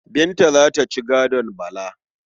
Binta za ta ci gadon Bala.